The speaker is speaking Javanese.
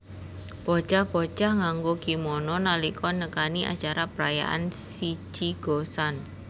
Bocah bocah nganggo kimono nalika nekani acara perayaan Shichi Go San